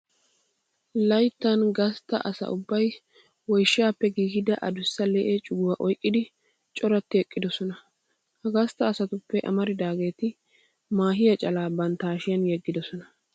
Layttan donzza asa ubbay woyshaappe giigida adussa lee'e cuguwa oyqqidi coratti eqqidosona. Ha gastta asatuppe amaridaageeti maahiya calaa bantta hashiyan yeggidosona.